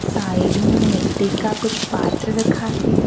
Side में मिट्टी का कुछ पात्र रखा है।